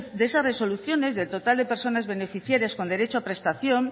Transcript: de esas resoluciones del total de personas beneficiarias con derecho a prestación